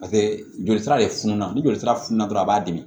pase joli sira de fununa ni jolisira fununa dɔrɔn a b'a dimi